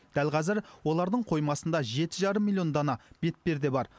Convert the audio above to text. дәл қазір олардың қоймасында жеті жарым миллион дана бетперде бар